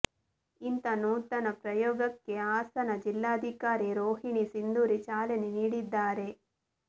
ಇಂಥಾ ನೂತನ ಪ್ರಯೋಗಕ್ಕೆ ಹಾಸನ ಜಿಲ್ಲಾಧಿಕಾರಿ ರೋಹಿಣಿ ಸಿಂಧೂರಿ ಚಾಲನೆ ನೀಡಿದ್ದಾರೆ